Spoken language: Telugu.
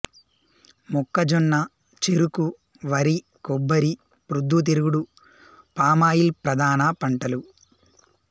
మొక్కజొన్న చెరకు వరి కొబ్బరి ప్రొద్దు తిరుగుడు పామాయిల్ ప్రధాన పంటలు